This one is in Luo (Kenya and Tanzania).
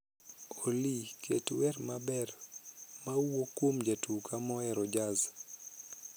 olly ket wer maber mawuok kuom jatuka mohero jazz